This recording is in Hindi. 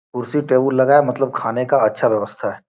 कुर्सी टेबुल लगा मतलब खाने का अच्छा व्यवस्था है।